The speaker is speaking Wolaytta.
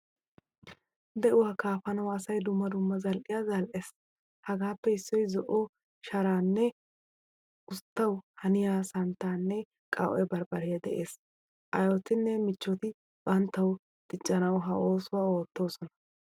De'uwaa kaafanawu asay dumma dumma zal'iyaa zal'ees. Hagaappe issioy zo'o sharan usttawu haniya santtanne qawu'e barbare de'ees. Aayotine michchoti banttawu diccanawu ha oosuwaa oottoosona.